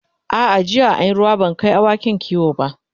a'a jiya an Yi ruwa ban Kai awakin kiwo ba